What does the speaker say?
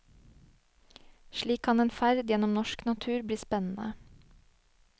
Slik kan en ferd gjennom norsk natur bli spennende.